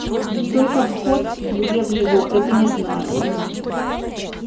только вход где в него это не знаю